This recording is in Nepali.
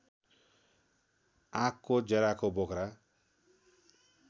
आँकको जराको बोक्रा